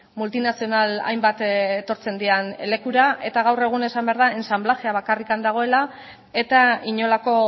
multinazional hainbat etortzen diren lekura eta gaur egun esan behar da ensanblajea bakarrik dagoela eta inolako